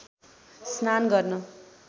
स्नान गर्न